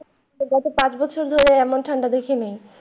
গত পাঁচ বছর ধরে এমন ঠান্ডা দেখিনি।